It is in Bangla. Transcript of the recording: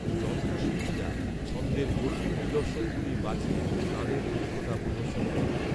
যন্ত্রশীল্পিরা ছন্দের জটিল নিদর্শনগুলি বাজিয়ে তাদেঁর দক্ষতা প্রদর্শন করেন।